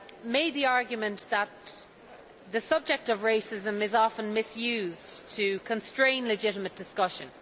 made the argument that the subject of racism is often misused to constrain legitimate discussion.